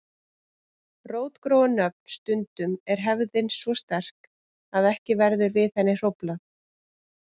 Rótgróin nöfn Stundum er hefðin svo sterk að ekki verður við henni hróflað.